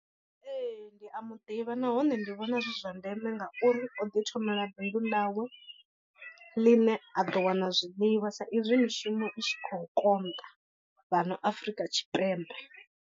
Ee ndi a muḓivha nahone ndi vhona zwi zwa ndeme ngauri o ḓi thomela bindu ḽawe ḽine a ḓo wana zwiḽiwa sa izwi mishumo i tshi khou konḓa fhano Afrika Tshipembe.